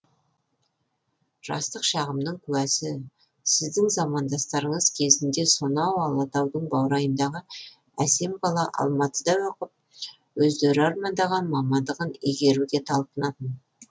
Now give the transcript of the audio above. жастық шағымның куәсі сіздің замандастарыңыз кезінде сонау алатаудың баурайындағы әсем қала алматыда оқып өздері армандаған мамандығын игеруге талпынатын